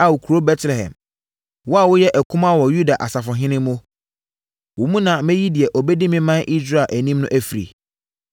“ ‘Ao kuro Betlehem, wo a wonyɛ akumaa wɔ Yuda asafohene mu, wo mu na mɛyi deɛ ɔbɛdi me ɔman Israel anim afiri.’ ”